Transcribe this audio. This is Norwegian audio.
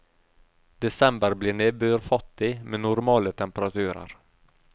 Desember blir nedbørfattig med normale temperaturer.